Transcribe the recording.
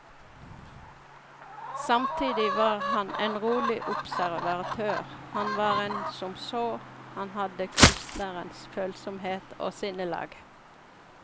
Samtidig var han en rolig observatør, han var en som så, han hadde kunstnerens følsomhet og sinnelag.